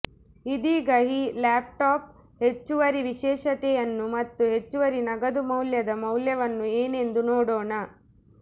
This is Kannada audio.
ಇದೀಗ ಈ ಲ್ಯಾಪ್ಟಾಪ್ ಹೆಚ್ಚುವರಿ ವಿಶೇಷತೆಯನ್ನು ಮತ್ತು ಹೆಚ್ಚುವರಿ ನಗದು ಮೌಲ್ಯದ ಮೌಲ್ಯವನ್ನು ಏನೆಂದು ನೋಡೋಣ